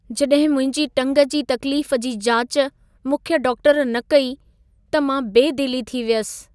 जॾहिं मुंहिंजी टंग जी तक़्लीफ जी जाच मुख्य डॉक्टर न कई, त मां बेदिली थी वियसि।